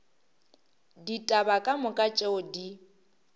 ditaba ka moka tšeo di